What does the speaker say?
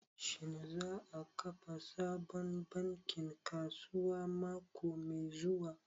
Shin za a kafa sabon bankin kasuwa mako mai zuwa?